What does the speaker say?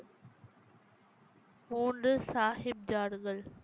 மூன்று சாஹிப் ஜாதுகள்